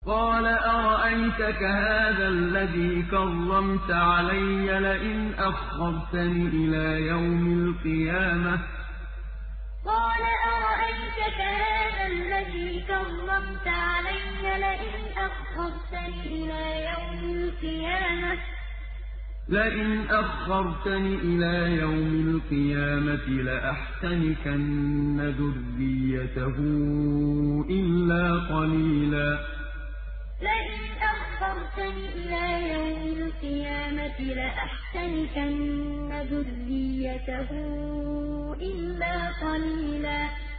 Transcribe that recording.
قَالَ أَرَأَيْتَكَ هَٰذَا الَّذِي كَرَّمْتَ عَلَيَّ لَئِنْ أَخَّرْتَنِ إِلَىٰ يَوْمِ الْقِيَامَةِ لَأَحْتَنِكَنَّ ذُرِّيَّتَهُ إِلَّا قَلِيلًا قَالَ أَرَأَيْتَكَ هَٰذَا الَّذِي كَرَّمْتَ عَلَيَّ لَئِنْ أَخَّرْتَنِ إِلَىٰ يَوْمِ الْقِيَامَةِ لَأَحْتَنِكَنَّ ذُرِّيَّتَهُ إِلَّا قَلِيلًا